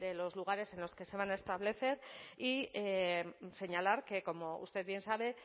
los lugares en los que se van a establecer y señalar que como usted bien sabe